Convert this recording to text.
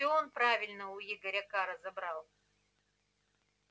все он правильно у игоря к разобрал